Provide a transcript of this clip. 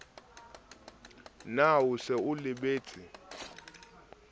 na o se o lebetse